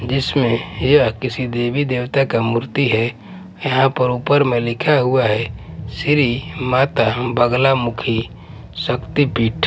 जिसमें यह किसी देवी देवता का मूर्ति है यहां पर ऊपर मे लिखा हुआ है श्री माता अंबाग्ला मुखी शक्ति पीठ--